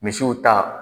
Misiw ta